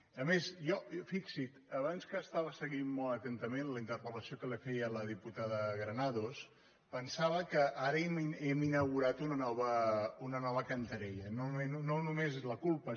i a més jo fixi’s abans que estava seguint molt atentament la interpel·lació que li feia la diputada granados pensava que ara hem inaugurat una nova cantarella no només és la culpa